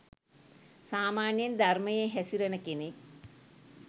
සාමාන්‍යයෙන් ධර්මයේ හැසිරෙන කෙනෙක්